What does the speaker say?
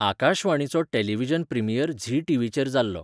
आकाशवाणीचो television premiere Zee टी.व्ही.चेर जाल्लो.